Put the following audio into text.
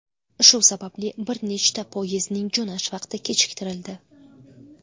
Shu sababli bir nechta poyezdning jo‘nash vaqti kechiktirildi.